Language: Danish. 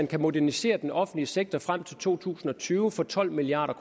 kan modernisere den offentlige sektor frem til to tusind og tyve for tolv milliard